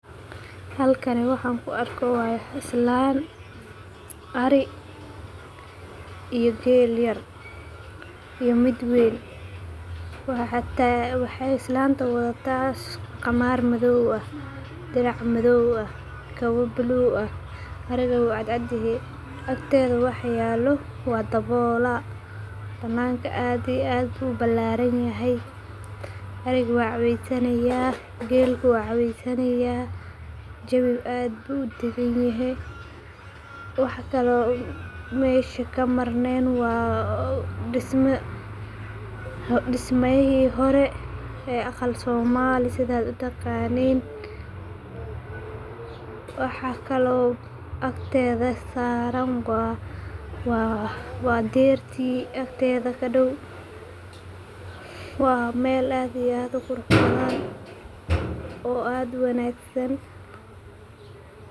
Halkani waxan ku arko waa islan ari iyo geel yar iyo mid weyn, waxaa islanta wadhataa qamar madhow ah dirac mafhow ah kawa bulug ah ariga wuu cad cad yehe agteeda waxa yalo waa dawola, bananka aad iyo aad ayu ubalaran yahay ariga waa cabid sanaya gelku wu cawesanaya jawi aad bu udagan yehe waxa kale mid mesha ka marnen waa dismayihi hore ee aqal somali sithaad utaqanin, waxaa kalo agteeda saran waa derti agteeda kadow waa meel aad iyo aad u qurux badan oo aad u wanagsan.